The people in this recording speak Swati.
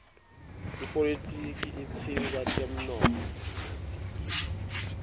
ipolitiki itsindza temnotfo